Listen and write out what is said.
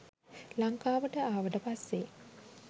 ලංකාවට ආවට පස්සෙ